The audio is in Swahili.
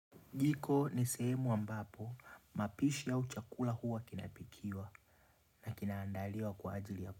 Jiko ni sehemu ambapo mapishi au chakula huwa kinapikiwa na kinaandaliwa kwa ajili ya po.